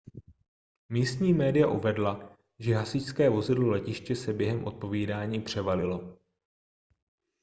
místní média uvedla že hasičské vozidlo letiště se během odpovídání převalilo